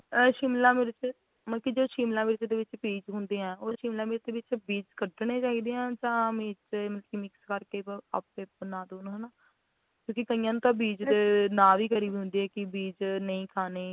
ਅ ਸ਼ਿਮਲਾ ਮਿਰਚ ਮਤਲੱਬ ਕਿ ਜਿਹੜੇ ਸ਼ਿਮਲਾ ਮਿਰਚ ਦੇ ਵਿੱਚ ਬੀਜ ਹੁੰਦੇ ਆ ਉਹ ਸ਼ਿਮਲਾ ਮਿਰਚ ਵਿੱਚੋ ਬੀਜ ਕਢਣੇ ਚਾਹੀਦੇ ਆ ਜਾਂ ਮਤਲੱਬ ਕੇ ਵਿੱਚ mix ਕਰਕੇ ਆਪੇ ਬਨਾਦੋ ਹਨਾਂ ਨਾ ਕਿਉਂਕਿ ਕਈਆਂ ਨੂੰ ਤਾਂ ਬੀਜ ਦੇ ਨਾ ਹੁੰਦੀ ਆ ਕਿ ਬੀਜ ਨਹੀਂ ਖਾਣੇ